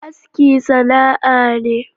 Aski sana'a ne.